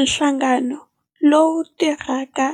Nhlangano lowu tirhaka